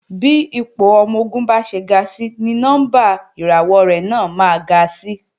Bí ipò ọmọ-ogun bá ṣe ń ga si ni nọ́mbà ìràwọ̀ rẹ̀ náà máa ga si